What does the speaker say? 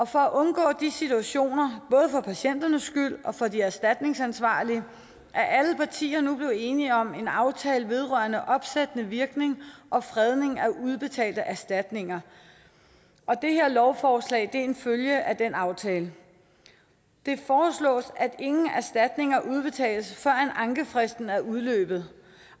for at undgå de situationer både for patienternes skyld og for de erstatningsansvarlige er alle partier nu blevet enige om en aftale vedrørende opsættende virkning og fredning af udbetalte erstatninger det her lovforslag er en følge af den aftale det foreslås at ingen erstatninger udbetales før ankefristen er udløbet